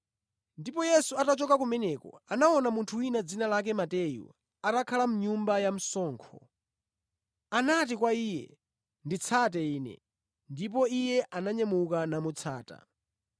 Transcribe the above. Ndipo Yesu atachoka kumeneko, anaona munthu wina dzina lake Mateyu, atakhala mʼnyumba ya msonkho. Anati kwa iye, “Nditsate Ine.” Ndipo iye ananyamuka namutsata.